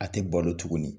A tɛ balo tuguni